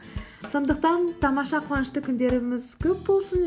сондықтан тамаша қунышты күндеріміз көп болсын